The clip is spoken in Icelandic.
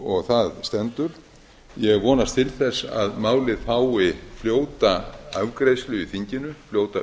og það stendur ég vonast til þess að málið fái fljóta afgreiðslu í þinginu fljóta